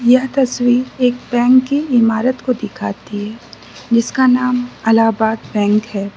यह तस्वीर एक बैंक की इमारत को दिखाती है जिसका नाम इलाहाबाद बैंक है।